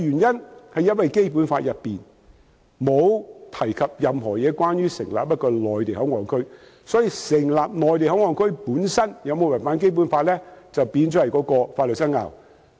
因為《基本法》並無提及任何有關成立內地口岸區的事宜，所以，成立內地口岸區本身有否違反《基本法》，就成為了法律上的爭拗。